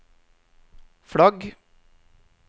flagg